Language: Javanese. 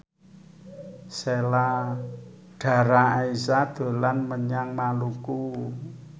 Sheila Dara Aisha dolan menyang Maluku